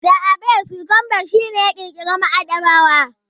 Johannes Gutenberg shi ne ya ƙirƙira maɗaba'a.